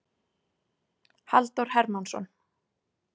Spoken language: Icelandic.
Halldór Hermannsson.